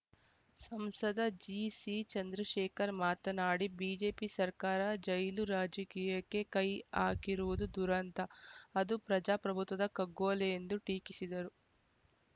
ಸಂಸದ ಜಿಸಿಚಂದ್ರಶೇಖರ್‌ ಮಾತನಾಡಿ ಬಿಜೆಪಿ ಸರ್ಕಾರ ಜೈಲು ರಾಜಕೀಯಕ್ಕೆ ಕೈ ಹಾಕಿರುವುದು ದುರಂತ ಅದು ಪ್ರಜಾಪ್ರಭುತ್ವದ ಕಗ್ಗೊಲೆ ಎಂದು ಟೀಕಿಸಿದರು